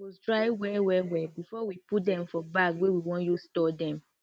groundnut seed supose dry well well well before we put dem for bag wey we want use store dem